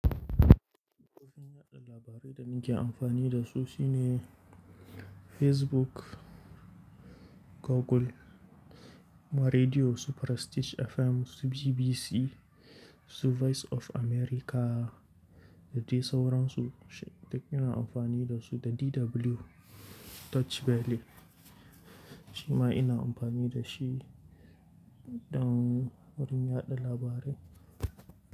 Kofo fin yaɗa labarai da nake amfani da su shi ne Facebook, Google, ma rediyo su Prestige FM, su BBC, su Voice of America. Da dai sauransu. Duk ina amfani da su da DW Deutsch Welle. Shi ma ina amfani da shi don wurin yaɗa labarai.